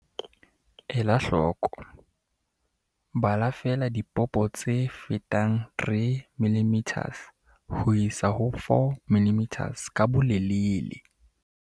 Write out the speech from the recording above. Ela hloko- Bala feela dipopane tse fetang 3 mm ho isa ho 4 mm ka bolelele.